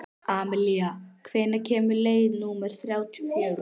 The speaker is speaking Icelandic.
Amalía, hvenær kemur leið númer þrjátíu og fjögur?